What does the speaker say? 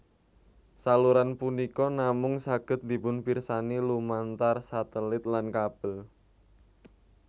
Saluran punika namung saged dipunpirsani lumantar satelit lan kabel